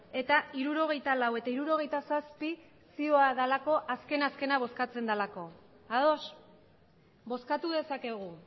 eta hirurogeita lau eta hirurogeita zazpi zioa delako azken azkena bozkatzen delako ados bozkatu dezakegu